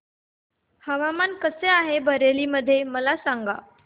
हवामान कसे आहे बरेली मध्ये मला सांगा